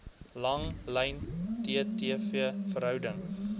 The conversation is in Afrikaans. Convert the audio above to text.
langlyn ttv verhouding